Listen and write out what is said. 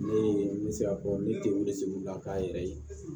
Ne ye n bɛ se ka fɔ ne den wolosigila k'a yɛrɛ ye